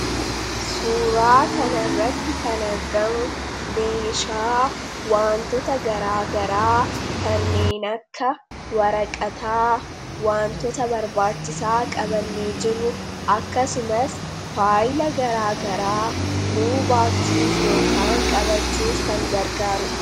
Suuraa kanarratti kan argamu meeshaa waantota garaagaraa kanneen akka waraqataa, waantota barbaachisaa qabannee jirru, akkasumas faayila garaagaraa nuu baachuuf yookaan qabachuuf kan gargaaru dha.